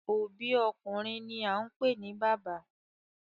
Obi okunrin ni a npe ni baba